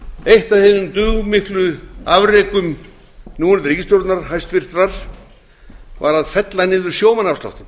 eitt af hinum dugmiklu afrekum núverandi ríkisstjórnar hæstvirtur var að fella niður sjómannaafsláttinn